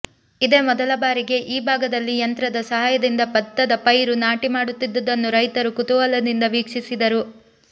ಇದೇ ಮೊದಲ ಬಾರಿಗೆ ಈ ಭಾಗದಲ್ಲಿ ಯಂತ್ರದ ಸಹಾಯದಿಂದ ಬತ್ತದ ಪೈರು ನಾಟಿ ಮಾಡುತ್ತಿದ್ದುದನ್ನು ರೈತರು ಕುತೂಹಲದಿಂದ ವೀಕ್ಷಿಸಿದರು